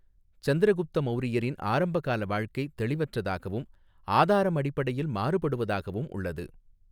சந்திரகுப்த மௌரியரின் ஆரம்பகால வாழ்க்கை தெளிவற்றதாகவும், ஆதாரம் அடிப்படையில் மாறுபடுவதாகவும் உள்ளது.